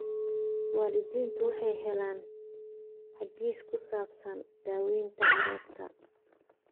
Waalidiintu waxay helaan hagis ku saabsan daawaynta carruurta.